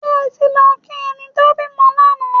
Ṣé ẹ ti lọ kí ẹni tó bímọ lánàá?